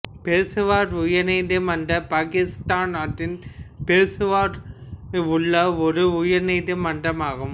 பெசாவர் உயர் நீதிமன்றம் பாகிஸ்தான் நாட்டின் பெசாவர் ல் உள்ள ஒரு உயர் நீதி மன்றமாகும்